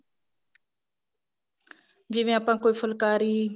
ਜਿਵੇਂ ਆਪਾਂ ਕੋਈ ਫੁੱਲਕਾਰੀ